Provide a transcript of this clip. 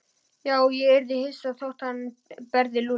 Já, ég yrði ekki hissa þótt hann berði Lúlla.